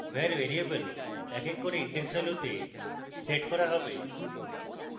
var variable এক এক var index ভ্যালুতে set করা হবে